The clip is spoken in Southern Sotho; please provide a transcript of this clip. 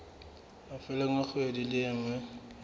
mafelong a kgwedi e nngwe